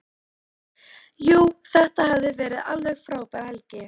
Jú, þetta hafði verið alveg frábær helgi.